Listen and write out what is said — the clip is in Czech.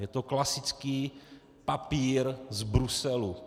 Je to klasický papír z Bruselu.